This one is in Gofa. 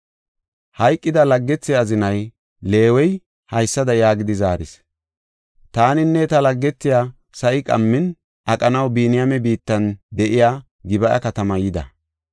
Hayqida laggethe azinay, Leewey, haysada yaagidi zaaris; “Taaninne ta laggethiya sa7i qammin aqanaw Biniyaame biittan de7iya Gib7a katamaa yida.